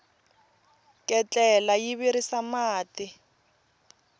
ketlela yi virisa mati